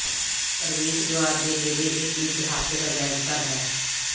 ਪ੍ਰਵੇਸ਼ ਦੁਆਰ ਦੇ ਨੇੜੇ ਇਕ ਇਤਿਹਾਸਕ ਅਜਾਇਬ ਘਰ ਹੈ